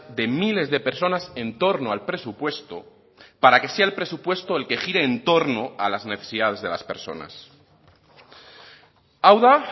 de miles de personas en torno al presupuesto para que sea el presupuesto el que gire en torno a las necesidades de las personas hau da